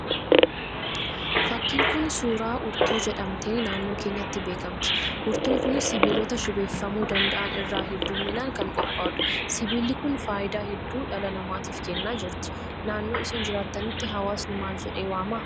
Fakkiin Kun, suuraa urtuu jedhamtee naannoo keenyatti beekamti. Urtuun kunis sibiilota shibeeffamuu danda'an irraa hedduminaan kan qophaa'udha. Sibiilli Kun fayidaa hedduu dhala namatiif kennaa jirti. Naannoo isin jiraattanitti, hawaasni maal jedhee waama?